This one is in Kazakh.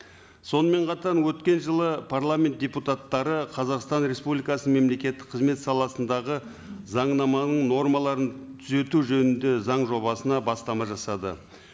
сонымен қатар өткен жылы парламент депутаттары қазақстан республикасының мемлекеттік қызмет саласындағы заңнаманың нормаларын түзету жөнінде заң жобасына бастама жасады